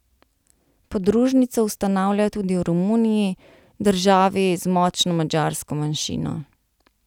Podružnico ustanavlja tudi v Romuniji, državi z močno madžarsko manjšino.